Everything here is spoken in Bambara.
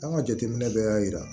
An ka jateminɛ bɛɛ y'a yira